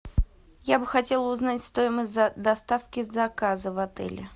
я бы хотела узнать стоимость доставки заказа в отеле